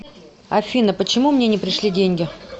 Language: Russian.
афина почему мне не пришли деньги